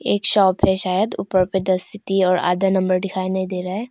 एक शॉप हैं शायद ऊपर पे द सिटी और आधा नंबर दिखाई नहीं दे रहा है।